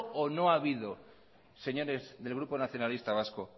o no habido señores del grupo nacionalista vasco